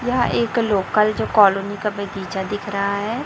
यहां एक लोकल जो कॉलोनी का बगीचा दिख रहा है।